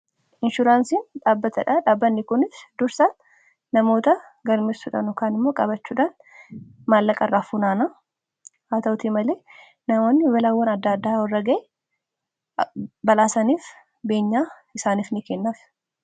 Inshuraansiin dhaabbatadha. Dhaabbanni kunis dursa namoota galmeessudhaan kana immoo qabachuudhaan maallaqa irraa fuunaanaa haata'uutii malee namoonni balaawwan adda addaa warra irra ga'e balaa saniif beenyaa isaaniif ni kennaaf.